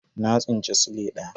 Na tsinci sile daya.